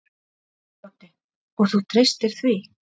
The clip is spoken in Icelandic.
Broddi: Og þú treystir því?